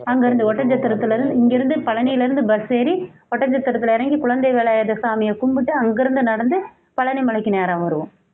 அங்கிருந்து ஒட்டன்சத்திரத்தில இருந்து இங்கிருந்து பழனியிலிருந்து bus ஏறி ஒட்டன்சத்திரத்தில இறங்கி குழந்தை வேலாயுத சாமியை கும்பிட்டு அங்கிருந்து நடந்து பழனி மலைக்கு நேரா வருவோம்